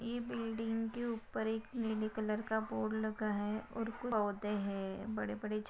ये बिल्डिंग के ऊपर एक नीले कलर का बोर्ड लगा है और कूच पौधे हैं। बड़े बड़े झा--